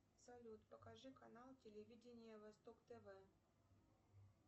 салют покажи канал телевидения восток тв